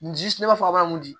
N ji ne b'a fɔ aw mun di